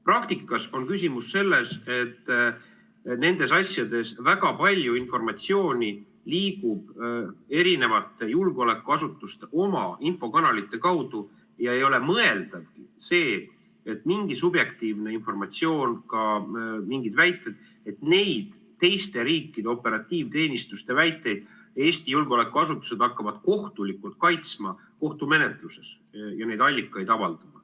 Praktikas on küsimus selles, et nendes asjades väga palju informatsiooni liigub eri julgeolekuasutuste oma infokanalite kaudu ja ei ole mõeldavgi, et mingi subjektiivne informatsioon, ka mingid väited, et neid teiste riikide operatiivteenistuste väiteid Eesti julgeolekuasutused hakkavad kohtulikult kaitsma kohtumenetluses ja neid allikaid avaldama.